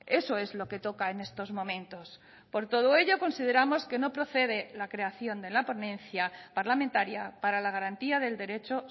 eso es lo que toca en estos momentos por todo ello consideramos que no procede la creación de la ponencia parlamentaria para la garantía del derecho